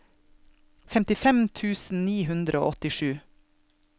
femtifem tusen ni hundre og åttisju